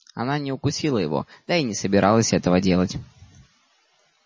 она не укусила его да и не собиралась этого делать